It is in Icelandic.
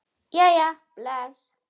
Jæja bless